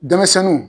Denmisɛnninw